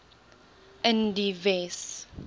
in die wes